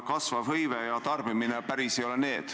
Kasvav hõive ja tarbimine ei ole ilmselt enam päris need.